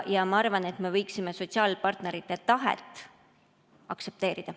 Ma arvan, et me võiksime sotsiaalpartnerite tahet aktsepteerida.